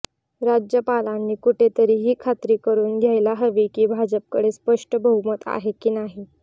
राज्यपालांनी कुठेतरी ही खात्री करून घ्यायला हवी की भाजपकडे स्पष्ट बहुमत आहे की नाही